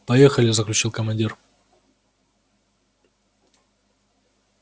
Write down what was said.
поехали заключил командир